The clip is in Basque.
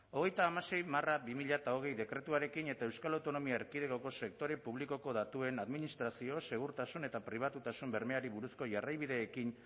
hogeita hamasei barra bi mila hogei dekretuarekin eta euskal autonomia erkidegoko sektore publikoko datuen administrazio segurtasun eta pribatutasun bermeari buruzko jarraibideekin